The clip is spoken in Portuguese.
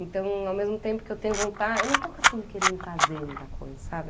Então, ao mesmo tempo que eu tenho vontade, eu não estou assim querendo fazer muita coisa, sabe?